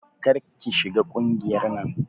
Kar ki shiga ƙungiyar nan.